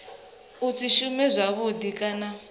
a si shume zwavhudi kana